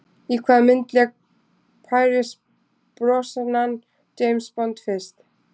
Í hvaða mynd lék Pierce Brosnan James Bond fyrst?